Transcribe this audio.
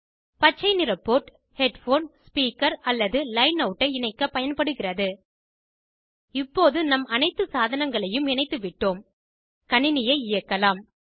பச்சை நிற port headphone speaker head phoneஸ்பீக்கர் அல்லது லைன் அவுட்டை இணைக்கப்ப பயன்படுகிறது இப்போது நம் அனைத்து சாதனங்களையும் இணைத்துவிட்டோம் கணினியை இயக்கலாம்